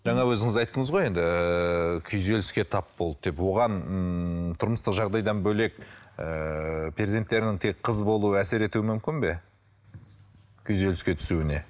жаңа өзіңіз айтыңыз ғой енді ыыы күйзеліске тап болды деп оған ммм тұрмыстық жағдайдан бөлек ыыы перзенттерінің тек қыз болуы әсер етуі мүмкін бе күйзеліске түсуіне